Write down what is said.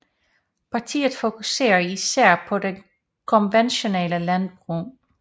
Partiet fokuserer især på det konventionelle landbrug